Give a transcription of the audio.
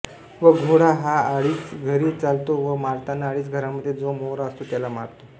व घोडा हा आडीच घरे चालतो व मारताना आडीच घरामध्ये जो मोहरा आसातो त्याला मारतो